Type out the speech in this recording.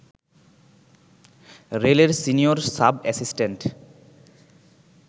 রেলের senior sub assistant